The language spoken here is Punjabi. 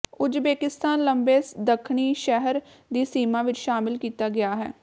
ਉਜ਼ਬੇਕਿਸਤਾਨ ਲੰਬੇ ਦੱਖਣੀ ਸ਼ਹਿਰ ਦੀ ਸੀਮਾ ਵਿੱਚ ਸ਼ਾਮਿਲ ਕੀਤਾ ਗਿਆ ਹੈ